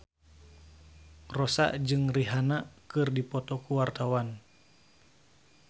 Rossa jeung Rihanna keur dipoto ku wartawan